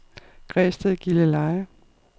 Græsted-Gilleleje